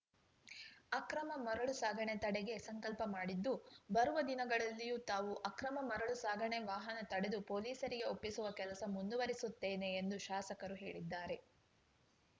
ಅಕ್ರಮ ಮರಳು ಸಾಗಣೆ ತಡೆಗೆ ಸಂಕಲ್ಪ ಮಾಡಿದ್ದು ಬರುವ ದಿನಗಳಲ್ಲಿಯೂ ತಾವು ಅಕ್ರಮ ಮರಳು ಸಾಗಣೆ ವಾಹನ ತಡೆದು ಪೊಲೀಸರಿಗೆ ಒಪ್ಪಿಸುವ ಕೆಲಸ ಮುಂದುವರಿಸುತ್ತೇನೆ ಎಂದು ಶಾಸಕರು ಹೇಳಿದ್ದಾರೆ